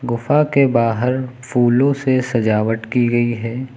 गुफा के बाहर फूलों से सजावट की गई है।